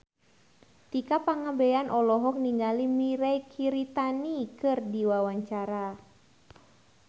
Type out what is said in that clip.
Tika Pangabean olohok ningali Mirei Kiritani keur diwawancara